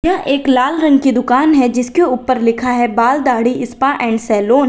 यह एक लाल रंग की दुकान है जिसके ऊपर लिखा है बाल दाढ़ी स्पा एंड सैलून ।